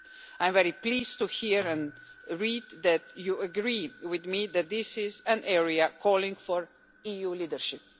I am very pleased to hear and read that this House agrees with me that this is an area calling for EU leadership.